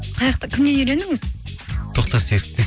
кімнен үйрендіңіз тоқтар серіковтен